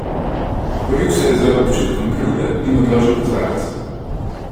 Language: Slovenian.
Boril se je z občutkom krivde in odložil kozarec.